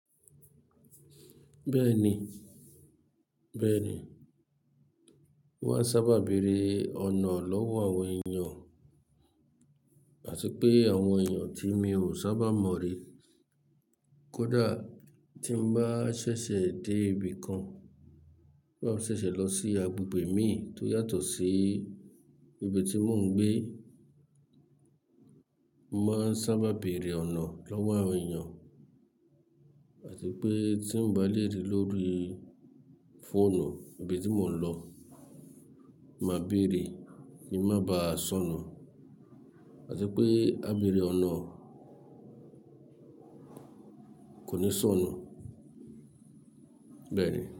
Bẹ́ẹ̀ni, bẹ́ẹ̀ni. Mo máa ń sábà bèrè ọ̀nà lọ́wọ́ àwọn èèyàn, àti pé àwọn èèyàn tí mi ò sábà mọ̀ rí. Kódà tí m bá ṣẹ̀ṣẹ̀ dé ibi kan, tí bá ṣẹ̀ṣẹ̀ lọ sí agbègbè mi tó yàtọ̀ sí ibi tí mò ń gbé, mo máa ń sábà bèrè ọ̀nà lọ́wọ́ àwọn èèyàn. Àti pé tí m bá lérí lórí fóònù ibi tí mò ń lọ, máa bèrè kí n má ba sọnù. Àti pé á bèrè ọ̀nà kò ní sọnù, bẹ́ẹ̀ni.